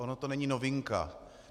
Ona to není novinka.